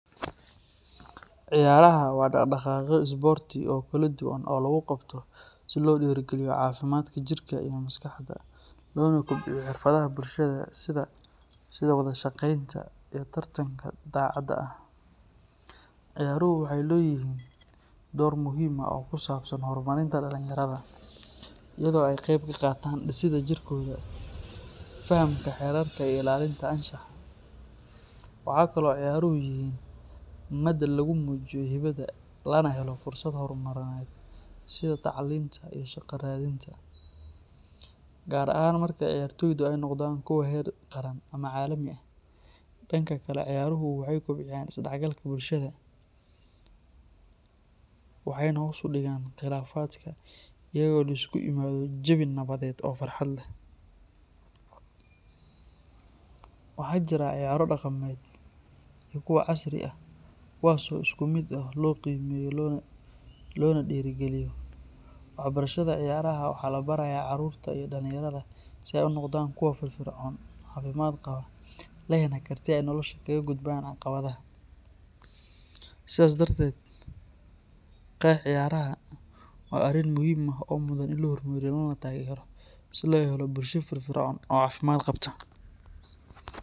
Ciyaaraha waa dhaqdhaqaaqyo isboorti oo kala duwan oo lagu qabto si loo dhiirrigeliyo caafimaadka jirka iyo maskaxda, loona kobciyo xirfadaha bulshada sida wada shaqaynta iyo tartanka daacadda ah. Ciyaaruhu waxay leeyihiin door muhiim ah oo ku saabsan horumarinta dhalinyarada, iyadoo ay ka qayb qaataan dhisidda jirkooda, fahamka xeerarka iyo ilaalinta anshaxa. Waxa kale oo ciyaaruhu yihiin madal lagu muujiyo hibada, lana helo fursado horumarineed sida tacliinta iyo shaqo raadinta, gaar ahaan marka ciyaartoydu ay noqdaan kuwo heer qaran ama caalami ah. Dhanka kale, ciyaaruhu waxay kobciyaan isdhexgalka bulshada, waxayna hoos u dhigaan khilaafaadka iyadoo la isugu yimaado jawi nabadeed oo farxad leh. Waxa jira ciyaaro dhaqameed iyo kuwa casri ah, kuwaas oo si isku mid ah loo qiimeeyo loona dhiirrigeliyo. Waxbarashada ciyaaraha waxaa la barayaa carruurta iyo dhallinyarada si ay u noqdaan kuwo firfircoon, caafimaad qaba, lehna karti ay nolosha kaga gudbaan caqabadaha. Sidaas darteed, qex ciyaaraha waa arrin muhiim ah oo mudan in la horumariyo lana taageero si loo helo bulsho firfircoon oo caafimaad qabta.